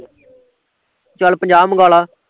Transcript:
ਚੱਲ ਪੰਜਾਹ ਮਗਾਲਾਂ